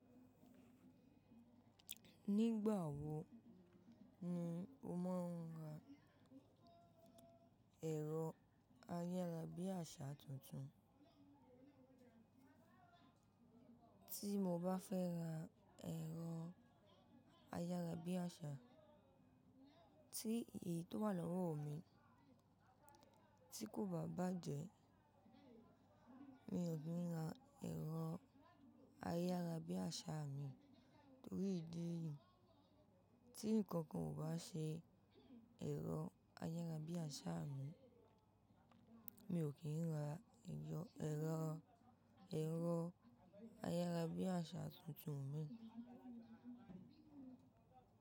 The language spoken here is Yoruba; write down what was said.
Nígbà wo ni o máa ń ra ẹ̀rọ ayárabíàṣá tuntun? Tí mo bá fẹ́ ra ẹ̀rọ ayárabíàṣá, tí èyí tó wà lọ́wọ́ mi tí kò bá bàjẹ́, mi ò ki n ra ẹ̀rọ ayárabíàṣá min nítorí ìdí yìí. Tí nǹkan kan ò bá ṣe ẹ̀rọ ayárabíàṣá mi, mi ò kí ń ra ẹ̀rọ, ẹ̀rọ, ẹ̀rọ ayárabíàṣá tuntun min.